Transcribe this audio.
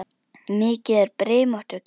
Mikið er brimrót við kletta.